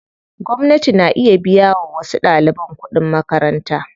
Gwamnati na iya biya wa wasu ɗaliban kuɗin makaranta.